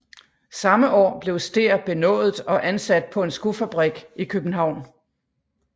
Samme år blev Stehr benådet og ansat på en skofabrik i København